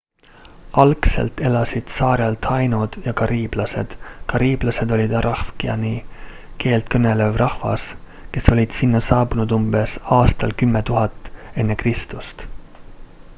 algselt elasid saarel taínod ja kariiblased. kariiblased olid arawakani keelt kõnelev rahvas kes olid sinna saabunud umbes aastal 10 000 ekr